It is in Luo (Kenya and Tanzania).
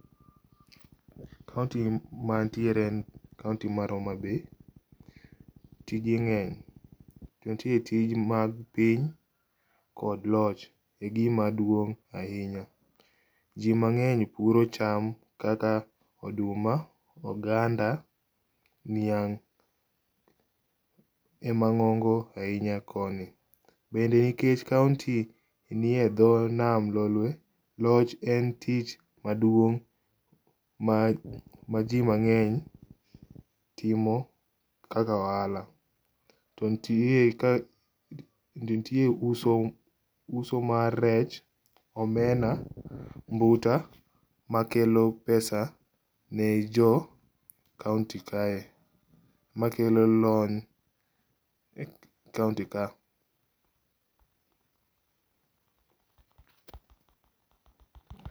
County mantiere en county mar Homa bay, tije nge'ny to nitie tij mag piny kod loch, egimaduong' ahinya , ji mange'ny puro cham kaka oduma, oganda, niang' ema ngo'ngo ahinya koni, bende nikech county nie tho nam lolwe, loch en tich maduong' ma jimange'ny timo kaka ohala, to nitie uso uso mar rech, omena , mbuta makelo pesa ne jo county kae , makelo lony e county kae